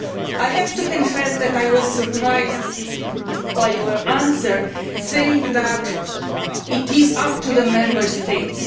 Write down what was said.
I have to confess that I was surprised when you said that it is up to the Member States.